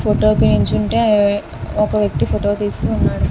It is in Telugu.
ఫోటో కి నించుంటే ఒక వ్యక్తి ఫోటో తీస్తున్నాడు.